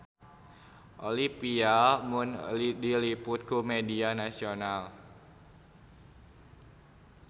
Olivia Munn diliput ku media nasional